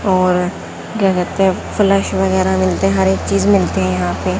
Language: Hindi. और घर के फ्लैश वगैरा मिलते हर एक चीज मिलते हैं यहां पे--